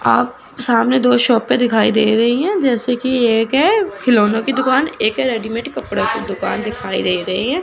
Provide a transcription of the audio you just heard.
आप सामने दो शॉपे दिखाई दे रही है जैसे कि एक है खिलौनों की दुकान एक है रेडीमेड कपड़ों की दुकान दिखाई दे रहे हैं।